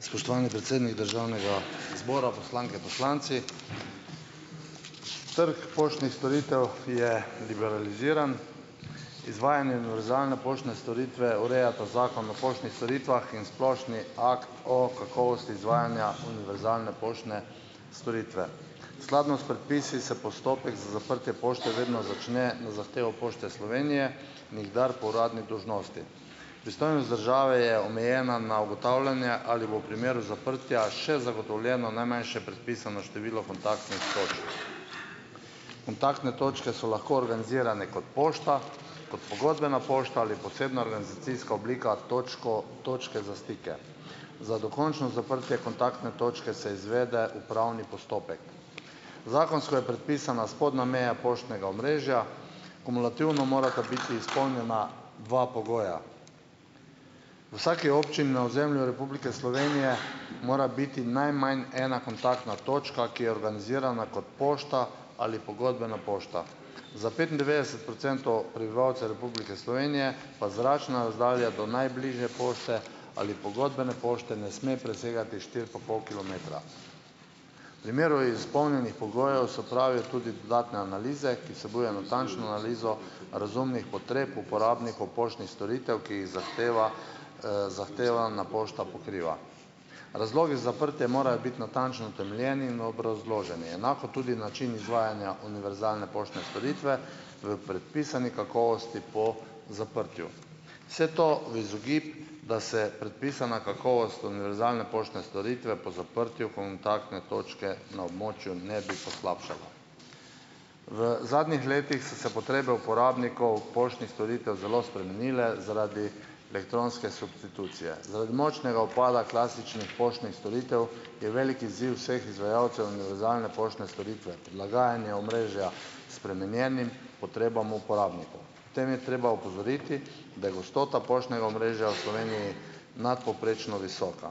Spoštovani predsednik državnega zbora, poslanke, poslanci! Trg poštnih storitev je liberaliziran. Izvajanje univerzalne poštne storitve urejata Zakon o poštnih storitvah in splošni akt o kakovosti izvajanja univerzalne poštne storitve. Skladno s predpisi se postopek za zaprtje pošte vedno začne na zahtevo Pošte Slovenije, nikdar po uradni dolžnosti. Pristojnost države je omejena na ugotavljanje, ali bo v primeru zaprtja še zagotovljeno najmanjše predpisano število kontaktnih točk. Kontaktne točke so lahko organizirane kot pošta, kot pogodbena pošta ali posebna organizacijska oblika, točka, točka za stike. Za dokončno zaprtje kontaktne točke se izvede upravni postopek. Zakonsko je predpisana spodnja meja poštnega omrežja, kumulativno morata biti izpolnjena dva pogoja. V vsaki občini na ozemlju Republike Slovenije mora biti najmanj ena kontaktna točka, ki je organizirana kot pošta ali pogodbena pošta. Za petindevetdeset procentov prebivalcev Republike Slovenije pa zračna razdalja do najbližje pošte ali pogodbene pošti ne sme presegati štiri pa pol kilometra. V primeru izpolnjenih pogojev, so pravi, tudi dodatne analize, ki vsebuje natančno analizo razumnih potreb uporabnikov poštnih storitev, ki jih zahteva, zahtevana pošta pokriva. Razlogi za zaprtje morajo biti natančno utemeljeni in obrazloženi. Enako tudi način izvajanja univerzalne poštne storitve v predpisani kakovosti po zaprtju. Vse to v izogib, da se predpisana kakovost univerzalne poštne storitve po zaprtju kontaktne točke na območju ne bi poslabšala. V zadnjih letih so se potrebe uporabnikov poštnih storitev zelo spremenile zaradi elektronske substitucije. Zaradi močnega upada klasičnih poštnih storitev je velik izziv vseh izvajalcev univerzalne poštne storitve prilaganje omrežja spremenjenim potrebam uporabnikov. Pri tem je treba opozoriti, da je gostota poštnega omrežja v Sloveniji nadpovprečno visoka.